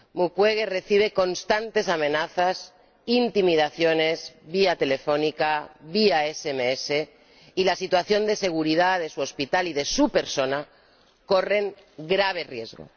Mukwege recibe constantes amenazas, intimidaciones vía telefónica, vía SMS y la situación de seguridad de su hospital y de su persona corren grave riesgo.